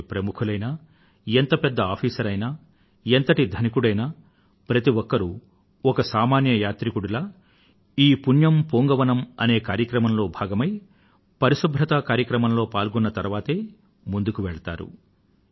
ఎంతటి ప్రముఖులైనా ఎంత పెద్ద అధికారి అయినా ఎంతటి ధనికుడైనా ప్రతి ఒక్కరూ ఒక సామాన్య యాత్రికుడిలా ఈ పుణ్యం పూంగవనమ్ అనే కార్యక్రమంలో భాగమై పరిశుభ్రత కార్యక్రమంలో పాల్గొన్న తరువాతే ముందుకు వెళ్తారు